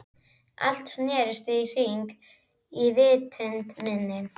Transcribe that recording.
Allt snerist í hringi í vitund minni.